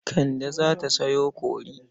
Kande za ta sayo kori.